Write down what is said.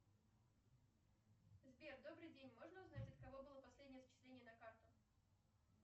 сбер добрый день можно узнать от кого было последнее зачисление на карту